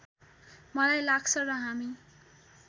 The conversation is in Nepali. मलाई लाग्छ र हामी